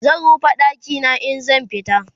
zan rufe ɗakina in zan fita